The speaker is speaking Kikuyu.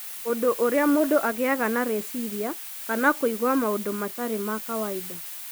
ũndũ ũrĩa mũndũ agĩaga na rĩciria kana kũigua maũndũ matarĩ ma kawaida